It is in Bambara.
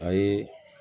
A ye